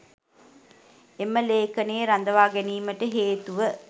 එම ලේඛනයේ රඳවා ගැනීමට හේතුව